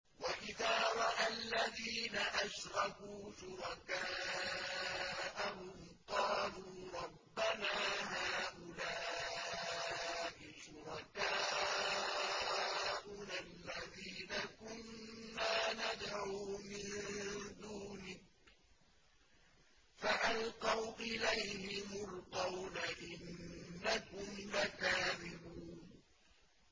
وَإِذَا رَأَى الَّذِينَ أَشْرَكُوا شُرَكَاءَهُمْ قَالُوا رَبَّنَا هَٰؤُلَاءِ شُرَكَاؤُنَا الَّذِينَ كُنَّا نَدْعُو مِن دُونِكَ ۖ فَأَلْقَوْا إِلَيْهِمُ الْقَوْلَ إِنَّكُمْ لَكَاذِبُونَ